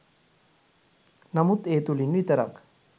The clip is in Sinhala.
නමුත් ඒ තුළින් විතරක්